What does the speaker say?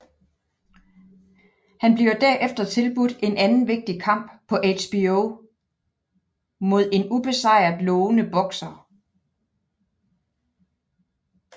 Han bliver derefter tilbudt en anden vigtig kamp på HBO mod en ubesejret lovende bokser